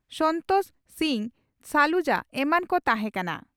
ᱥᱚᱱᱛᱚᱥ ᱥᱤᱝ ᱥᱟᱞᱩᱡᱟ ᱮᱢᱟᱱ ᱠᱚ ᱛᱟᱦᱮᱸ ᱠᱟᱱᱟ ᱾